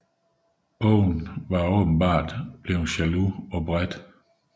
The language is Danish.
Owen var tilsyneladende blevet jaloux på Bret